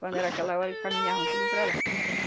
Quando era aquela hora, caminhavam tudo para lá.